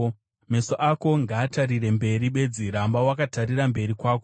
Meso ako ngaatarire mberi bedzi, ramba wakatarira mberi kwako.